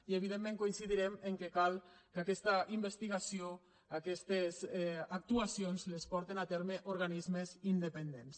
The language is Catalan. i evidentment coincidirem que cal que aquesta investigació aquestes actuacions les portin a terme organismes independents